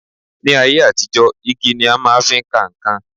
Ní ayé àtijọ́, igi ni a máa fi ń ka nǹkan